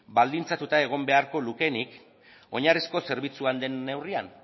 baldintzatuta egon beharko lukeenik oinarrizko zerbitzua den neurrian